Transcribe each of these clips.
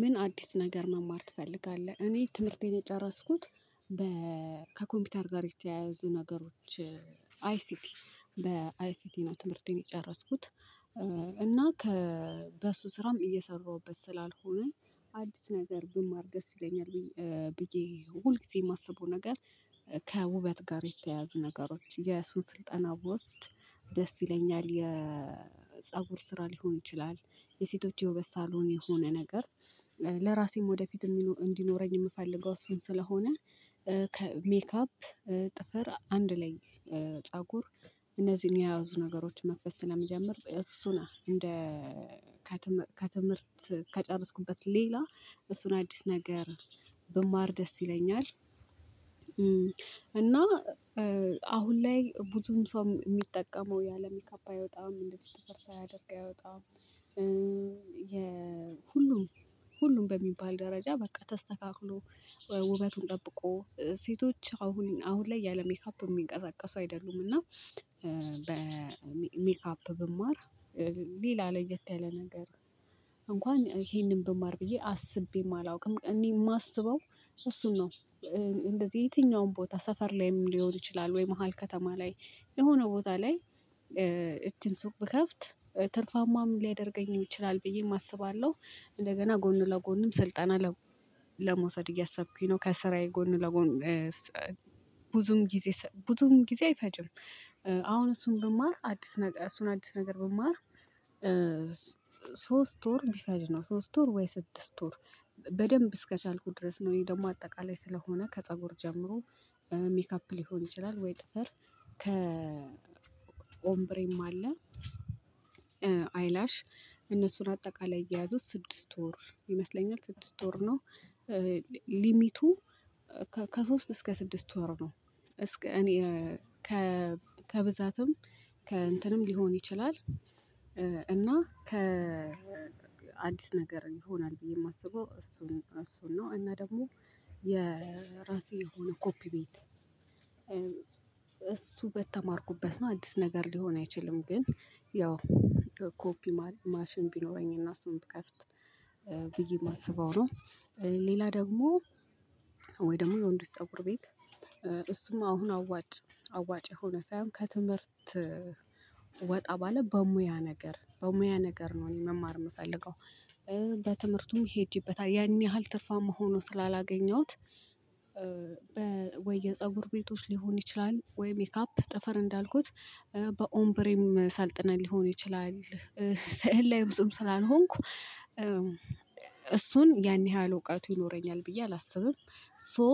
ምን አዲስ ነገር መማር ትፈልጋለህ? እኔ ትምህርቴን የጨረስኩት በ ከኮምፒውተር ጋር የተያያዙ ነገሮች አይሲቲ በአይሲቲ ነው። ትምህርቴን የጨረስኩት እና ከበሱ ስራም እየሰራሁበት ስላልሆነ አዲስ ነገር ብማር ደስ ይለኛል። ብዬ ሁልጊዜ የማስበው ነገር ከውበት ጋር የተያያዙ ነገሮች የሱን ስልጠና ብወስድ ደስ ይለኛል የፀጉር ስራ ሊሆን ይችላል። የሴቶች የውበት ሳሎን የሆነ ነገር ለራሴም ወደፊት እንዲኖረኝ የምፈልገው እሱን ስለሆነ። ሜካፕ ጥፍር አንድ ላይ ፀጉር እነዚህን የያዙ ነገሮች መክፈት ስለሚጀምር እሱን እንደ ከትምህርት ከጨረስኩበት ሌላ እሱን አዲስ ነገር ብማር ደስ ይለኛል። እና አሁን ላይ ብዙም ሰው የሚጠቀመው ያለ ሜካፕ አይወጣም እንደዚ ጥፍር ሳያደርግ አይወጣም። የ ሁሉም በሚባል ደረጃ በቃ ተስተካክሎ ውበቱን ጠብቆ ሴቶች አሁን አሁን ላይ ያለ ሜካፕ የሚንቀሳቀሱ አይደሉም። እና በሜካፕ ብማር ሌላ ለየት ያለ ነገር እንኳን ይሄንን ብማር ብዬ አስቤም አላውቅም። እኔ የማስበው እሱን እንደዚህ የትኛውም ቦታ ሰፈር ላይም ሊሆን ይችላል ወይ መሃል ከተማ ላይ የሆነ ቦታ ላይ እቺን ሱቅ ብከፍት ትርፋማም ሊያደርገኝ ይችላል ብዬ አስባለሁ። እንደገና ጎኑ ለጎንም ስልጣና ለመውሰድ እያሰብኩኝ ነው። ከስራዬ ጎን ለጎን ብዙም ጊዜ ብዙም ጊዜ አይፈጅም። አሁን እሱን ብማር አዲስ ነገር እሱን አዲስ ነገር ብማር ሶስት ወር ቢፈጅ ነው ሶስት ወር ወይ ስድስት ወር በደንብ እስከቻልኩት ድረስ ነው። እኔ ደግሞ አጠቃላይ ስለሆነ ከፀጉር ጀምሮ ሜካፕ ሊሆን ይችላል ወይ ጥፈር ከ ኦምብሬም አለ አይላሽ እነሱን አጠቃላይ እየያዙት ስድስት ወር ይመስለኛል ስድስት ወር ነው። ሊሚቱ ከሶስት እስከ ስድስት ወር ነው። እስከ እኔ ከብዛትም ከእንትንም ሊሆን ይችላል። እና ከ አዲስ ነገር ይሆናል ብዬ የማስበው እሱን እሱን ነው። እና ደግሞ የራሴ የሆነ ኮፒ ቤት እሱ በተማርኩበት ነው አዲስ ነገር ሊሆን አይችልም። ግን ያው ኮፒ ማሽን ቢኖረኝና እሱን ብከፍት ብዬ የማስበው ነው። ሌላ ደግሞ ወይ ደግሞ የወንዶች ፀጉር ቤት እሱም አሁን አዋጭ አዋጭ የሆነ ሳይሆን ከትምህርት ወጣ ባለ በሙያ ነገር በሙያ ነገር ነው። እኔ መማር የምፈልገው በትምህርቱም ሄጄበታል ያን ያህል ትርፋማ ሆኖ ስላላገኘሁት ወይ የፀጉር ቤቶች ሊሆን ይችላል ወይ ሜካፕ ጥፈር እንዳልኩት በኦምብሬም ሰልጥነን ሊሆን ይችላል ሳዕል ላይ ብዙም ስላልሆንኩ እሱን ያን ያህል እውቀቱ ይኖረኛል ብዬ አላስብም። ሶ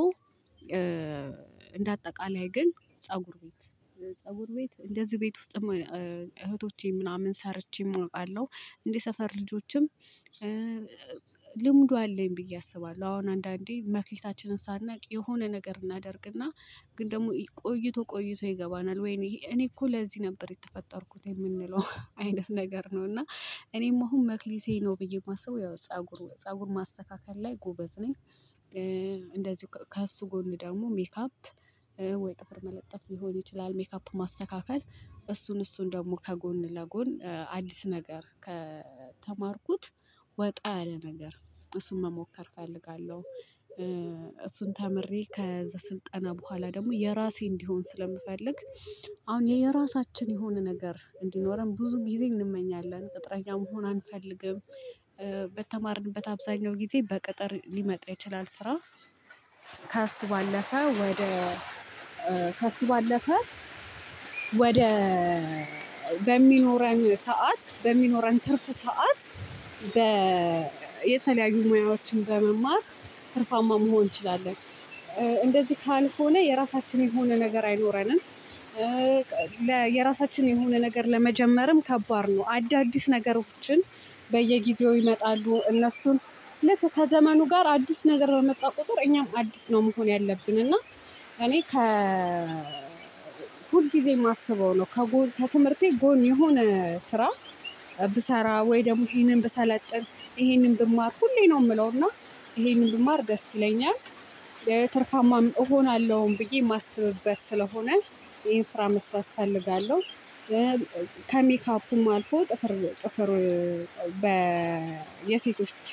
እንደ አጠቃላይ ግን ፀጉር ቤት ፀጉር ቤት እንደዚህ ቤት ውስጥ እህቶቼ ምናምን ሰርቼ እውቃለሁ እንዴ ሰፈር ልጆችም ልምዱ አለኝ ብዬ አስባለሁ አሁን አንዳንዴ መክሊታችንን ሳናቅ የሆነ ነገር እናደርግና ግን ደግሞ ቆይቶ ቆይቶ ይገባናል ወይኔ እኔ እኮ ለዚህ ነበር የተፈጠርኩት የምንለው አይነት ነገር ነው። እና እኔም አሁን መክሊቴ ነው ብዬ የማስበው ያው ፀጉሩ ፀጉር ማስተካከል ላይ ጎበዝ ነኝ። እንደዚሁ ከእሱ ጎን ደግሞ ሜካፕ ወይ ጥፍር መለጠፍ ሊሆን ይችላል ሜካፕ ማስተካከል እሱን እሱን ደግሞ ከጎን ለጎን አዲስ ነገር ከተማርኩት ወጣ ያለ ነገር እሱን መሞከር እፈልጋለሁ። እሱን ተምሬ ከስልጠና በኋላ ደግሞ የራሴ እንዲሆን ስለምፈልግ አሁን የራሳችን የሆነ ነገር እንዲኖረን ብዙ ጊዜ እንመኛለን ቅጥረኛ መሆን አንፈልግም። በተማርንበት አብዛኛው ጊዜ በቅጥር ሊመጣ ይችላል። ስራ ከሱ ባለፈ ወደ ከሱ ባለፈ ወደ በሚኖረን ሰዓት በሚኖረን ትርፍ ሰዓት በ የተለያዩ ሙያዎችን በመማር ትርፋማ መሆን እንችላለን። እንደዚህ ካልሆነ የራሳችን የሆነ ነገር አይኖረንም። የራሳችን የሆነ ነገር ለመጀመርም ከባድ ነው። አዳዲስ ነገሮችን በየጊዜው ይመጣሉ እነሱን ልክ ከዘመኑ ጋር አዲስ ነገር በመጣ ቁጥር እኛም አዲስ ነው መሆን ያለብን እና እኔ ከ ሁል ጊዜ የማስበው ነው ከጎን ከትምህርቴ ጎን የሆነ ስራ ብሰራ ወይ ደግሞ ይሄንን ብሰለጥን ይሄንን ብማር ሁሌ ነው የምለውና ይሄንን ብማር ደስ ይለኛል። የትርፋማ እሆናለሁኝ ብዬ የማስብበት ስለሆነ ይሄን ስራ መስራት እፈልጋለሁ። ከሜካፑም አልፎ ጥፍር ጥፍር በ የሴቶች